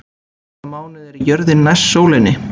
Í hvaða mánuði er jörðin næst sólinni?